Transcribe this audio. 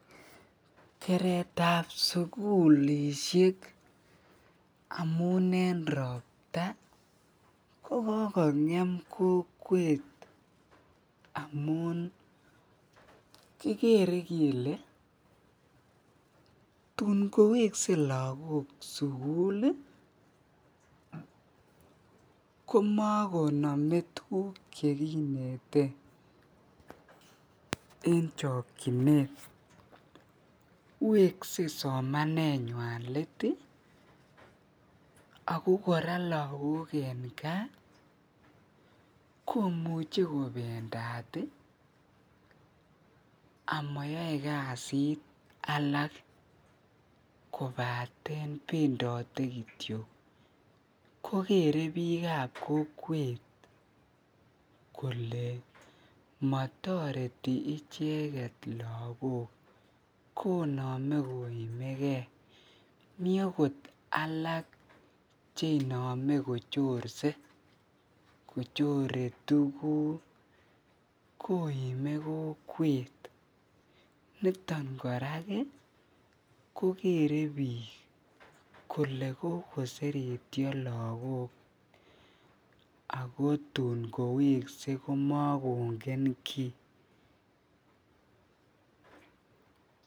Keretab sukulishek amun en robta ko kokongem kokwet amun kikere kelee tun kowekse lokok sukul komokonome tukuk chekinete en chokyinet, wekse somanenywan leet ak ko kora lakok en kaa komuche kobendat amayoe kasit alak kobaten bendote kitio kokere biikab kokwet kolee motoreti icheket lokok konome koimekee, mii akot alak chenome kochorse kochore tukuk koime kokwet, niton korak kokere biik kole kokosertio lokok ak tun kowekse komokongen kii.